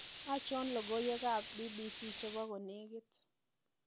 achon logoiwek ab b.b.c chebo konegit